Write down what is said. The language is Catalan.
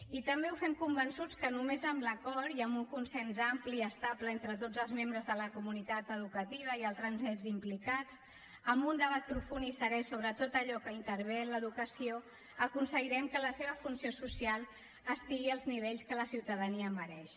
i també ho fem convençuts que només amb l’acord i amb un consens ampli i estable entre tots els membres de la comunitat educativa i altres ens implicats amb un debat profund i serè sobre tot allò que intervé en l’educació aconseguirem que la seva funció social estigui als nivells que la ciutadania mereix